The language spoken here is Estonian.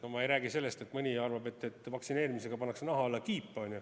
Ma ei räägi sellest, et mõni arvab, et vaktsineerimisega pannakse naha alla kiip.